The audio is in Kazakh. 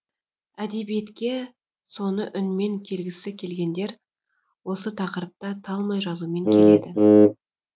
әдебиетке соны үнмен келгісі келгендер осы тақырыпта талмай жазумен келеді